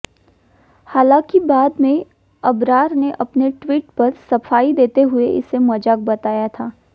हालाँकि बाद में अबरार ने अपने ट्वीट पर सफाई देते हुए इसे मजाक बताया था